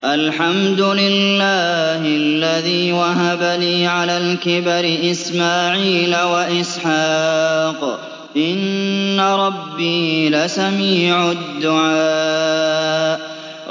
الْحَمْدُ لِلَّهِ الَّذِي وَهَبَ لِي عَلَى الْكِبَرِ إِسْمَاعِيلَ وَإِسْحَاقَ ۚ إِنَّ رَبِّي لَسَمِيعُ الدُّعَاءِ